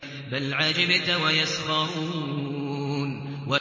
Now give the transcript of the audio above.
بَلْ عَجِبْتَ وَيَسْخَرُونَ